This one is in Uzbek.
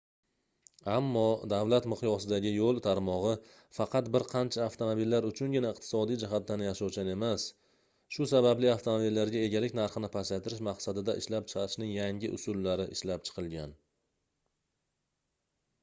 ammo davlat miqyosidagi yoʻl tarmogʻi faqat bir qancha avtomobillar uchungina iqtisodiy jihatdan yashovchan emas shu sababli avtomobillarga egalik narxini pasaytirish maqsadida ishlab chiqarishning yangi usullari ishlab chiqilgan